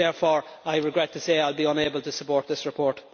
Therefore I regret to say I will be unable to support this report.